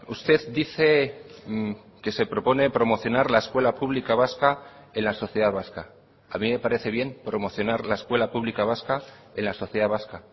usted dice que se propone promocionar la escuela pública vasca en la sociedad vasca a mí me parece bien promocionar la escuela pública vasca en la sociedad vasca